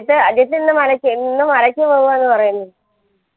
ജിത് അജിത് ഇന്ന് മലക്ക് ഇന്ന് മലക്ക് പോവൂആ പറീന്ന്